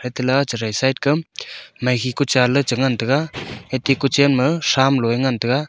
heta ka side kam maikhe ku cha ley ngan taiga heki kuchan ma sam lua ngan taiga.